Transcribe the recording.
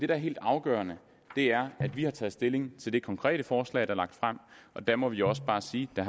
er helt afgørende er at vi har taget stilling til det konkrete forslag der er lagt frem og der må vi også bare sige at